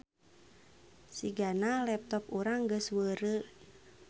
Sigana laptop urang geus weureu